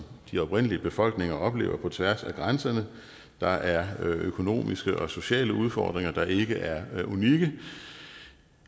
de oprindelige befolkninger oplever på tværs af grænserne der er økonomiske og sociale udfordringer der ikke er unikke